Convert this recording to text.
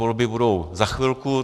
Volby budou za chvilku.